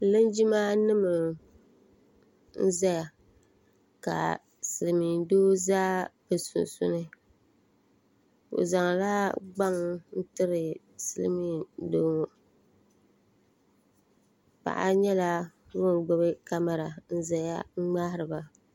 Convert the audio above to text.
linjimanima n-zaya ka silimdoo za bɛ sunsuuni bɛ zaŋla gbaŋ n-tiri silimdoo ŋɔ paɣa nyɛla ŋun gbubi kamara n-zaya ŋmahiri ba